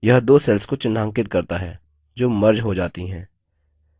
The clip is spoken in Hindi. यह दो cells को चिन्हांकित करता है जो merged हो जाती हैं